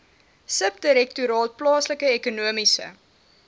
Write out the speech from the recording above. subdirektoraat plaaslike ekonomiese